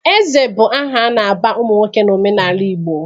Eze bụ aha a na-aba ụmụ nwoke n'omenala Igbo.